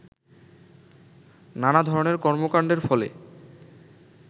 নানা ধরনের কর্মকাণ্ডের ফলে